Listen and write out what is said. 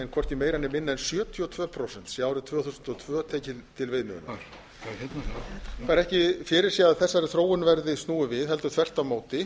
hvorki meira né minna en sjötíu og tvö prósent sé árið tvö þúsund og tvö tekið til viðmiðunar það er ekki fyrirséð að þessari þróun verði snúið við heldur þvert á móti